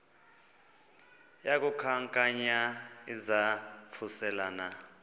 yaku khankanya izaphuselana